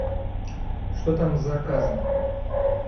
что там с заказом